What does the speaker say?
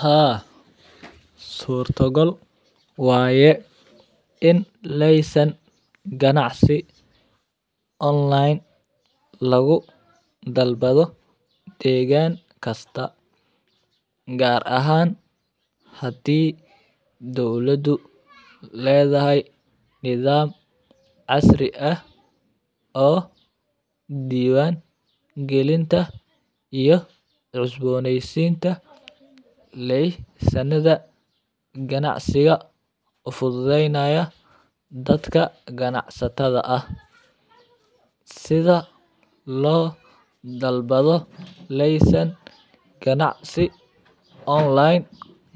Haa surto gal waye in leysen ganacsi online lagu dalbado degan kasta, gar ahan hadi dowladu ledahay nithab asri ah o diwan galinta iyo cusboneysita leysanadha ganacsiga u fududeynayo dadka ganacsata ah, sitha lo dalbado leysankan dacsi online